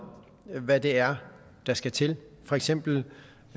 hvad det er der skal til for eksempel